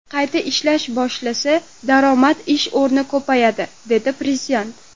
Qayta ishlash bo‘lsa, daromad, ish o‘rni ko‘payadi, dedi Prezident.